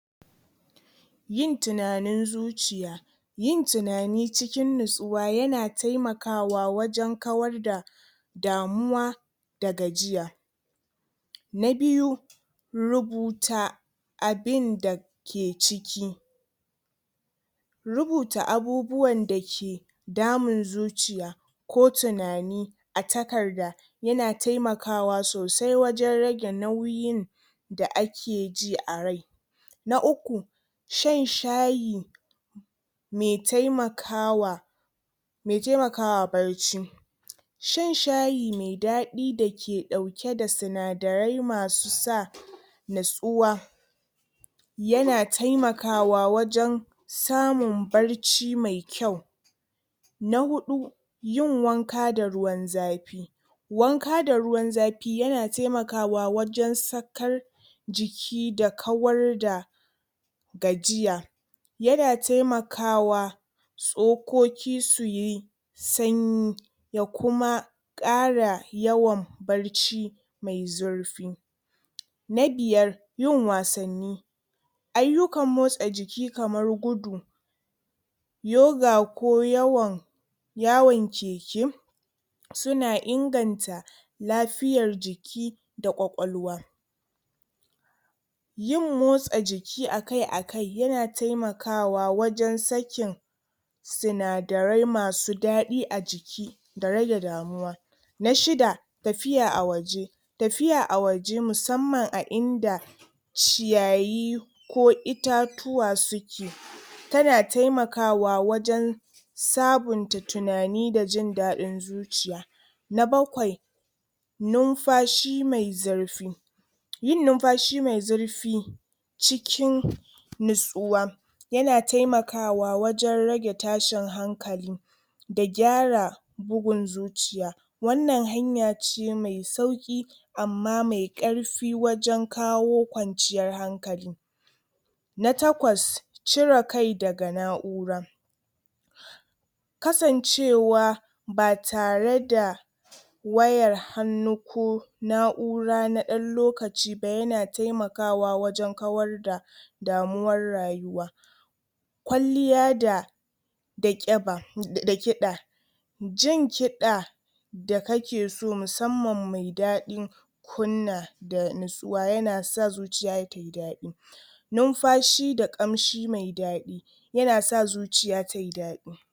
Yin tunanin zuciya. yin tunani cikin nutsuwa yana taimakwa wajen kawar da damuwa da gajiya na biyu rubuta abinda ke ciki rubuta abubuwan da ke damun zuciya ko tunani a takarda yana taimakawa sosai wajen rage nauyin da akeji a rai na uku shan shayi mai taimakawa mai taimakawa barci shan shayi mai daɗi da ke ɗaauke da sinadarai masu sa natsuwa yana taimakawa wajen samun barci mai kyau na huɗu yin wanka da ruwan zafi wanka da ruwan zafi yana taimakawa wajen sakar jiki da kawar da gajiya yana taimakawa tsokoki suyi sanyi da kuma ƙara yawan barci mai zurfi na biyar yin wasanni ayyukan motsa jiki kamar gudu yoga, ko yawan yawon keke suna inganta lafiyar jiki da kwakwalwa yin motsa jiki akai-akai yana taimakawa wajen sakin sinadarai masu daɗi a jiki da rage damuwa na shida tafiya a waje tafiya a waje, musamman a inda ciyayi ko itatuwa suke tana taimakawa wajen sabunta tunani da jin daɗin zuciya na bakwai nunfashi mai zurfi yin nunfashi mai zurfi cikin nutsuwa yana taimakawa wajen rage tashin hankali da gyara bugun zuciya wannan hanya ce mai sauki amma mai karfi wajen kawo kwanciyar hankali na takwas cire kai daga na'ura kasancewa ba tare da wayan hannu ko na'ura da ɗan lokaci ba yana taimakwa wajen kawar da damuwar rayuwa kwalliya da da kiba da kiɗa jin kiɗa da kake so musamman me daɗi kunna da natsuwa, yana sa zuciya tayi dadi nunfashi da ƙamshi mai daɗi yana sa zuciya tayi daɗi